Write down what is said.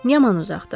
Yaman uzaqdır.